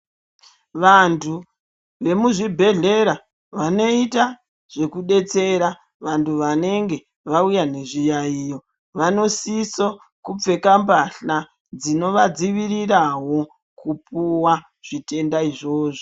Vanthu vemuzvibhehlera vanoita zvekudetsera vanthu vanenge vauya nezviyaiyo vanosiso kupfeka mbahla dzinovadzivirawo kupuwa zvitenda izvozvo.